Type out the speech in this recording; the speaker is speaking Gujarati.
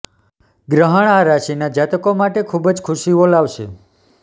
ગ્રહણ આ રાશિના જાતકો માટે ખૂબ જ ખુશીઓ લાવશે